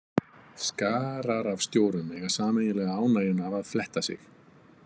Skarar af stjórum eiga sameiginlega ánægjuna af að fletta sig.